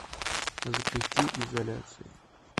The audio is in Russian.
запусти изоляция